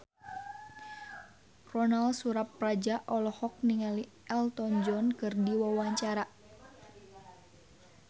Ronal Surapradja olohok ningali Elton John keur diwawancara